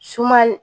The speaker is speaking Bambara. Sumani